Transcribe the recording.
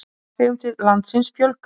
Farþegum til landsins fjölgar